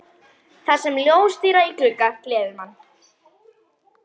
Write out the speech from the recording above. Þar sem ljóstíra í glugga gleður mann.